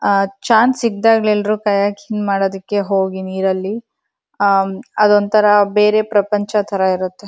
ಅಅ ಚಾನ್ಸ್ ಸಿಕ್ತಗೆಲ್ರು ಕಯಾಕಿಂಗ್ ಮಾದುದಕೆ ಹೋಗಿ ನೀರಲ್ಲಿ ಅಅ ಅದೊಂತರ ಬೇರೆ ಪ್ರಪಂಚತರ ಇರತ್ತೆ.